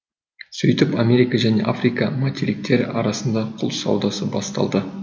сөйтіп америка және африка материктері арасында құл саудасы басталды